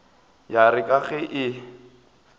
ya re ka ge e